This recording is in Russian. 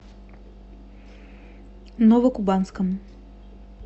новокубанском